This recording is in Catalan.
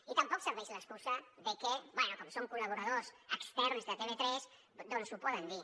i tampoc serveix l’excusa de que bé com són col·laboradors externs de tv3 doncs ho poden dir